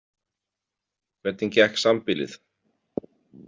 Hvernig gekk sambýlið?